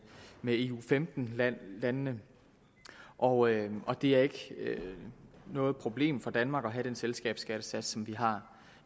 med eu femten landene og og det er ikke noget problem for danmark at have den selskabsskattesats som vi har